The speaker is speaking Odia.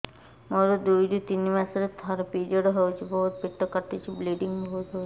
ମୋର ଦୁଇରୁ ତିନି ମାସରେ ଥରେ ପିରିଅଡ଼ ହଉଛି ବହୁତ ପେଟ କାଟୁଛି ବ୍ଲିଡ଼ିଙ୍ଗ ବହୁତ ହଉଛି